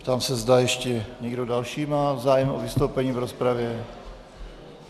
Ptám se, zda ještě někdo další má zájem o vystoupení v rozpravě.